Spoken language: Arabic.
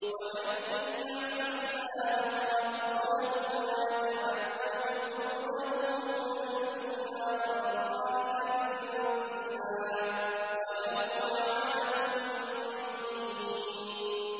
وَمَن يَعْصِ اللَّهَ وَرَسُولَهُ وَيَتَعَدَّ حُدُودَهُ يُدْخِلْهُ نَارًا خَالِدًا فِيهَا وَلَهُ عَذَابٌ مُّهِينٌ